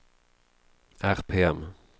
RPM